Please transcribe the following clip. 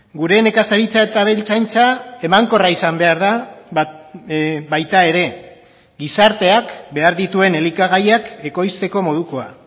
gure nekazaritza eta abeltzaintza emankorra izan behar da baita ere gizarteak behar dituen elikagaiak ekoizteko modukoa